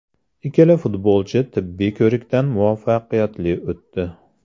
Ikkala futbolchi tibbiy ko‘rikdan muvaffaqiyatli o‘tdi.